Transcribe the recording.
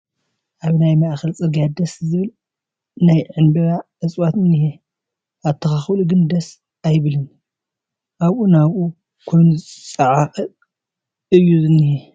ኣብ ናይ ማእኸል ፅርጊያ ደስ ዝብል ናይ ዕንበባ እፅዋት እኒሀ፡፡ ኣተኻኽልኡ ግን ደስ ኣይበለንን፡፡ ኣብኡ ናብኡ ኮይኑ ዝፀዓቐ እዩ ዝኒሀ፡፡